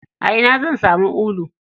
A ina zan samu ulu?